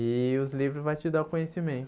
E os livros vai te dar o conhecimento.